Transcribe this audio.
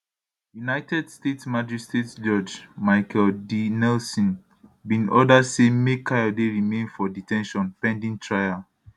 united states magistrate judge michael d nelson bin order say make kayode remain for de ten tion pending trial